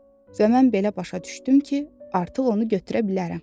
Və mən belə başa düşdüm ki, artıq onu götürə bilərəm.